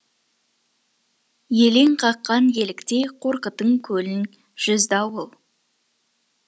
елең қақан еліктей қорқытың көлін жүзді ауыл